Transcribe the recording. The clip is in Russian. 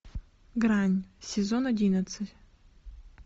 грань сезон одиннадцать